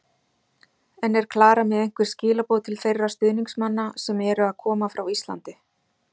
En er Klara með einhver skilaboð til þeirra stuðningsmanna sem eru að koma frá Íslandi?